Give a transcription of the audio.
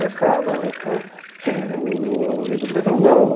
O senhor já estava? é. Você viu tudo... é, o o a revolução, não.